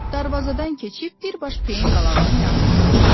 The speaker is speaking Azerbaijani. Darvazadan keçib birbaşa Peyin Qalağının yanına cumdu.